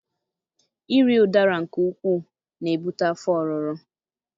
Iri Udara nke ukwuu na-ebute afọ ọrụrụ.